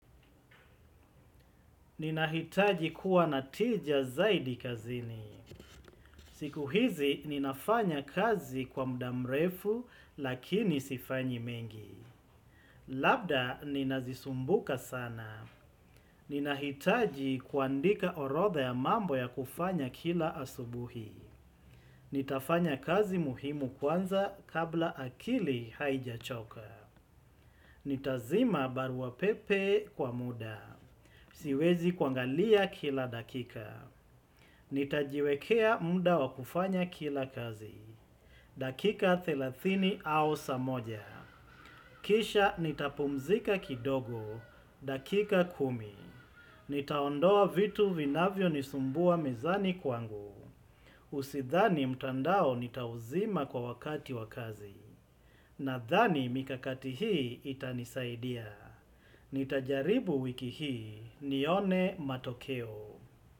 Ninahitaji kuwa na tija zaidi kazini. Siku hizi ninafanya kazi kwa mudamrefu lakini sifanyi mengi. Labda ninazisumbuka sana. Ninahitaji kuandika orodha ya mambo ya kufanya kila asubuhi. Nitafanya kazi muhimu kwanza kabla akili haijachoka. Nitazima barua pepe kwa muda. Siwezi kuangalia kila dakika. Nitajiwekea muda wa kufanya kila kazi. Dakika thelathini au saa moja kisha nitapumzika kidogo. Dakika kumi nitaondoa vitu vinavyo nisumbua mezani kwangu Usidhani mtandao nitauzima kwa wakati wa kazi, nadhani mikakati hii itanisaidia. Nitajaribu wiki hii, nione matokeo.